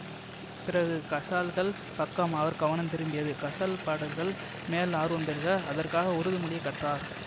பிறகு கசால்கள் பக்கம் அவர் கவனம் திரும்பியது கசால் பாடல்கள் மேல் ஆர்வம் பெருக அதற்காக உருது மொழியை கற்றார்